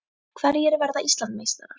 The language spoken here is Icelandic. Hverjir verða Íslandsmeistarar?